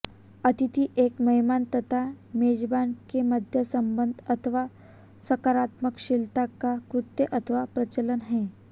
आतिथ्य एक मेहमान तथा मेजबान के मध्य संबंध अथवा सत्कारशीलता का कृत्य अथवा प्रचलन है